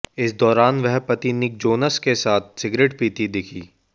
इस दौरान वह पति निक जोनास के साथ सिगरेट पीती दिखीं